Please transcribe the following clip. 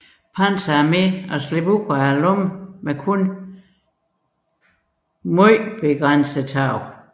Panzer Arme at slippe ud af lommen med kun begrænsede tab